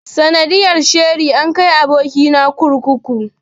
Sanadiyar sheri an kai aboki na kurkuku.